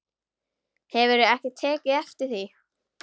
Hefurðu ekki tekið eftir því?